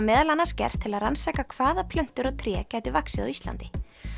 meðal annars gert til að rannsaka hvaða plöntur og tré gætu vaxið á Íslandi